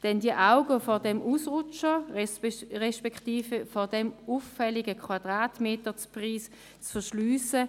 Denn es wäre wohl nicht der richtige Weg, die Augen vor diesem Ausrutscher, beziehungsweise vor diesem auffälligen Quadratmeterpreis zu verschliessen.